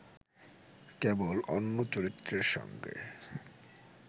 কেবল অন্য চরিত্রের সঙ্গে